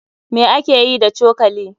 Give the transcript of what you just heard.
Me ake yi da cokali?